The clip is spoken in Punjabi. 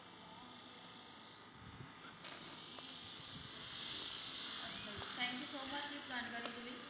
ਅੱਛਾ ਜੀ thank you so much ਇਸ ਜਾਣਕਾਰੀ ਦੇ ਲਈ।